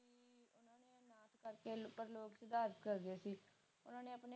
ਓਹਨਾ ਨੇ ਆਪਣੇ ਉਪਰ ਲੋਕ ਸੁਧਾਰ ਕਰ ਰਹੇ ਸੀ